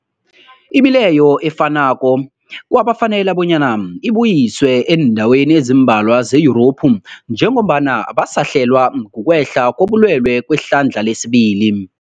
Imileyo efanako kwafanela bonyana ibuyiswe eendaweni ezimbalwa ze-Yurophu njengombana basahlelwa, kukwehla kobulwele kwehlandla lesibili.